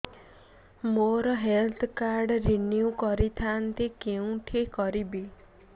ମୋର health card renew କରିଥାନ୍ତି କୋଉଠି କରିବି